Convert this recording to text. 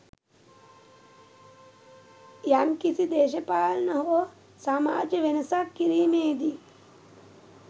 යම්කිසි දේශපාලන හෝ සමාජ වෙනසක් කිරීමේදී